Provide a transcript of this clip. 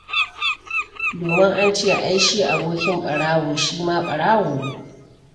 Domin an ce ai shi abokin ɓarawo shi ma ɓarawo ne.